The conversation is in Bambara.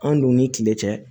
An dun ni kile cɛ